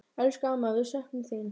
Elsku amma, við söknum þín.